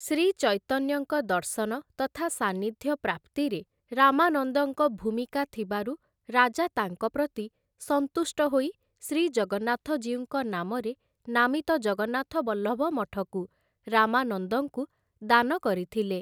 ଶ୍ରୀଚୈତନ୍ୟଙ୍କ ଦର୍ଶନ ତଥା ସାନ୍ନିଧ୍ୟ ପ୍ରାପ୍ତିରେ ରାମାନନ୍ଦଙ୍କ ଭୂମିକା ଥିବାରୁ ରାଜା ତାଙ୍କ ପ୍ରତି ସନ୍ତୁଷ୍ଟ ହୋଇ ଶ୍ରୀଜଗନ୍ନାଥଜୀଉଙ୍କ ନାମରେ ନାମିତ ଜଗନ୍ନାଥବଲ୍ଲଭ ମଠକୁ ରାମାନନ୍ଦଙ୍କୁ ଦାନ କରିଥିଲେ ।